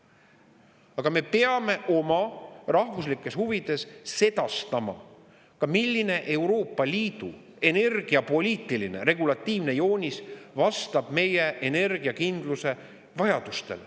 Aga me peame oma rahvuslikes huvides sedastama ka, milline Euroopa Liidu energiapoliitiline regulatiivne joonis vastab meie energiakindluse vajadustele.